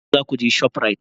Yaushe za ku je shoprite?